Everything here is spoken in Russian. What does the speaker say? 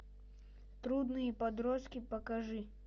трудные подростки покажи